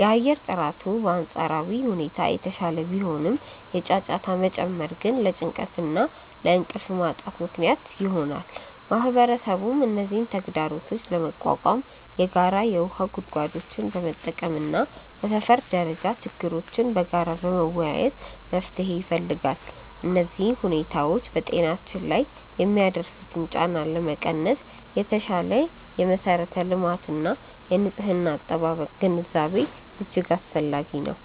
የአየር ጥራቱ በአንጻራዊ ሁኔታ የተሻለ ቢሆንም፣ የጫጫታ መጨመር ግን ለጭንቀትና ለእንቅልፍ ማጣት ምክንያት ይሆናል። ማህበረሰቡም እነዚህን ተግዳሮቶች ለመቋቋም የጋራ የውሃ ጉድጓዶችን በመጠቀምና በሰፈር ደረጃ ችግሮችን በጋራ በመወያየት መፍትሄ ይፈልጋል። እነዚህ ሁኔታዎች በጤናችን ላይ የሚያደርሱትን ጫና ለመቀነስ የተሻሻለ የመሠረተ ልማትና የንጽህና አጠባበቅ ግንዛቤ እጅግ አስፈላጊ ነው።